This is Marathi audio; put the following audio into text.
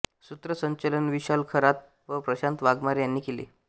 सुत्रसंचलन विशाल खरात व प्रशांत वाघमारे यांनी केले